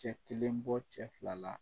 Cɛ kelen bɔ cɛ fila la